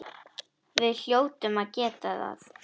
Við hljótum að geta það.